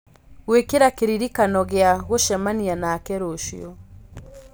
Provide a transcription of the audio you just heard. gwĩkĩra kĩririkano gĩa gũcemania nake rũciũ